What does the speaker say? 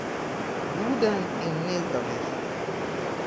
Buden in nezavesten.